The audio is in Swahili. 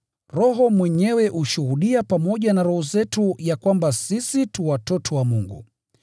Roho mwenyewe hushuhudia pamoja na roho zetu ya kwamba sisi tu watoto wa Mungu.